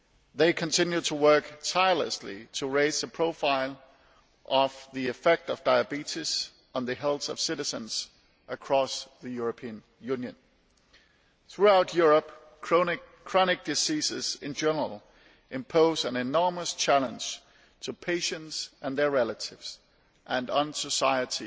They continue to work tirelessly to raise the profile of the effects of diabetes on the health of citizens across the European Union. Throughout Europe, chronic diseases in general impose an enormous challenge to patients and their relatives and society